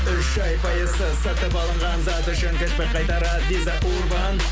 үш ай пайызсыз сатып алынған зат үшін чекті қайтарар виза урбан